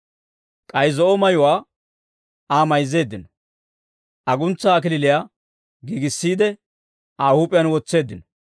K'ay zo'o mayuwaa Aa mayzzeeddino; aguntsaa kalachchaa giigissiide, Aa huup'iyaan wotseeddino.